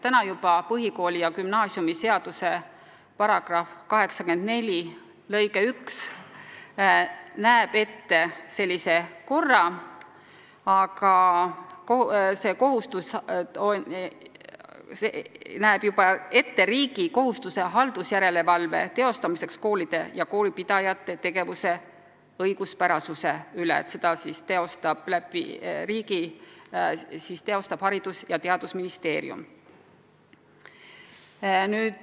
Nimelt, põhikooli- ja gümnaasiumiseaduse § 84 lõige 1 juba näeb ette riigi kohustuse teha haldusjärelevalvet koolide ja koolipidajate tegevuse õiguspärasuse üle ja seda teostab riigi nimel Haridus- ja Teadusministeerium.